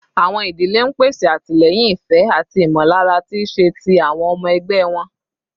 Awọn idile n pese atilẹyin, ifẹ, ati imọlara ti iṣe ti awọn ọmọ ẹgbẹ wọn